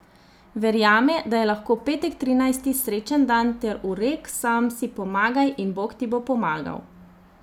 Verjame, da je lahko petek trinajsti srečen dan ter v rek Sam si pomagaj in Bog ti bo pomagal.